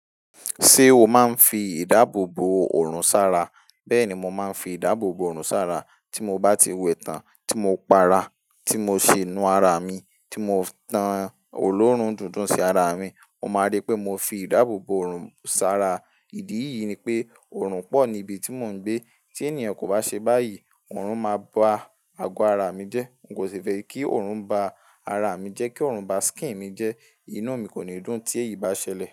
Ṣé o máa ń fi ìdáàbò bo òrùn sára? Bẹ́ẹ̀ni, mo máa ń fi ìdáàbò bo òrùn sára. Tí mo bá ti wẹ tán, tí mo pa ara, tí mo ṣe inú ara mi, tí mo tan oloorun dundun sí ara mi, mo máa rí pé mo fi ìdáàbò bo òrùn sára. Ìdí ìyí ni pé, òrùn pọ̀ ní ibi tí mò ń gbé. Tí ènìyàn kò bá ṣe báyìí, òrùn máa ba ago ara mi jẹ́. N kò ṣe fẹ́ kí òrùn ba ara mi jẹ́, kí òrùn ba skin mi jẹ́. Inú mi kò ní dùn tí èyí bá ṣẹlẹ̀.